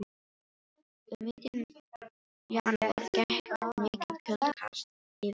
Um miðjan janúar gekk mikið kuldakast yfir Evrópu.